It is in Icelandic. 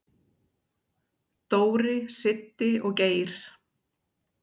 """Dóri, Siddi og Geir."""